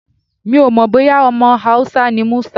Mi ò mọ̀ bóyá ọmọ Hausa ni Musa.